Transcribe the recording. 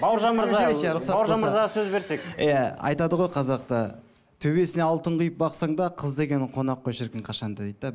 иә айтады ғой қазақта төбесінен алтын құйып бақсаңда қыз деген ол қонақ қой ол шіркін қашанда дейді де